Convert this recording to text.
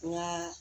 Nka